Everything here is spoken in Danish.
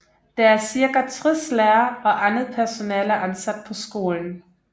Der er cirka 60 lærere og andet personale ansat på skolen